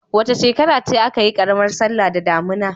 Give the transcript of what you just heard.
Wace shekara ce aka yi karamar sallah da damuna?